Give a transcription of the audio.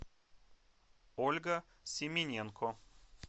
ольга семененко